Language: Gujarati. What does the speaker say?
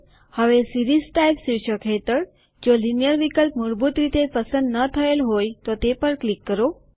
હવે સીરીઝ ટાઈપ શીર્ષક હેઠળ જો લીનીયર વિકલ્પ મૂળભૂત રીતે પસંદ ન થયેલ હોય તો તે પર ક્લિક કરો